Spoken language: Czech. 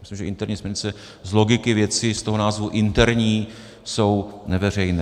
Myslím, že interní směrnice z logiky věci, z toho názvu "interní", jsou neveřejné.